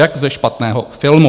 Jak ze špatného filmu.